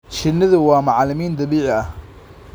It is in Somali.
Shinnidu waa macalimiin dabiici ah.